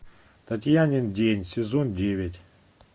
татьянин день сезон девять